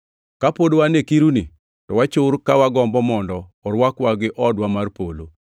Kapod wan e kiruni to wachur ka wagombo mondo orwakwa gi odwa mar polo